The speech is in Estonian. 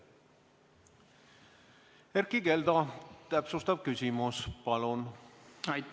Erkki Keldo, täpsustav küsimus, palun!